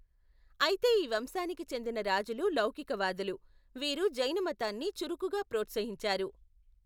అయితే ఈ వంశానికి చెందిన రాజులు లౌకికవాదులు, వీరు జైనమతాన్ని చురుకుగా ప్రోత్సహించారు.